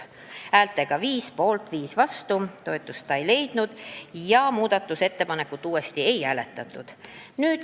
Hääled jagunesid 5 poolt, 5 vastu, seega toetust see ei leidnud ja muudatusettepanekut uuesti ei hääletatud.